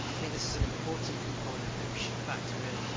This is an important component that we should factor in.